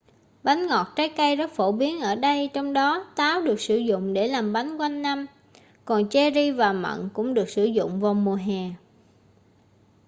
bánh ngọt trái cây rất phổ biến ở đây trong đó táo được sử dụng để làm bánh quanh năm còn cherry và mận cũng được sử dụng vào mùa hè